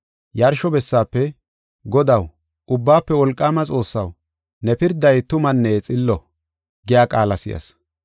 Yarsho bessaafe, “Godaw, Ubbaafe Wolqaama Xoossaw, ne pirday tumanne xillo” giya qaala si7as.